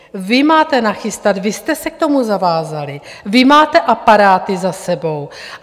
Vy máte nachystat, vy jste se k tomu zavázali, vy máte aparáty za sebou.